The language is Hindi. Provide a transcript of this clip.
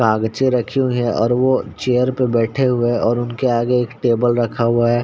काग्चे रखी हुयी हैं और वो चेयर पर बेठे हुए हैं और उनके आगे एक टेबल रखा हुआ है।